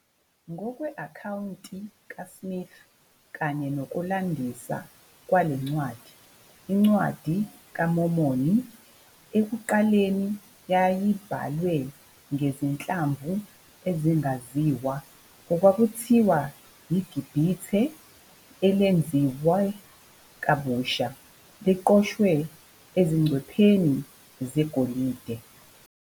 Ngokwe-akhawunti kaSmith kanye nokulandisa kwale ncwadi, iNcwadi kaMormoni ekuqaleni yayibhalwe ngezinhlamvu ezingaziwa okwakuthiwa "yiGibhithe elenziwe kabusha" liqoshwe ezingcwepheni zegolide.